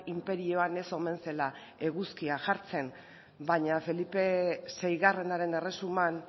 inperioan ez omen zela eguzkia jartzen baina felipe seigarrenaren erresuman